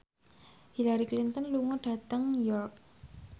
Hillary Clinton lunga dhateng York